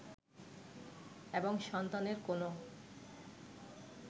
এবং সন্তানের কোনো